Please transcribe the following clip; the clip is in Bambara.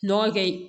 Nɔgɔ kɛ